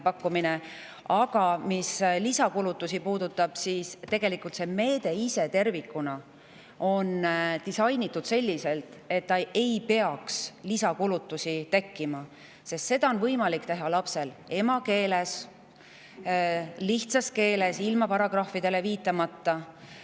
Tegelikult on see meede tervikuna disainitud selliselt, et lisakulutusi ei tekiks, sest on võimalik lapsel teha oma emakeeles, lihtsas keeles, ilma paragrahvidele viitamata.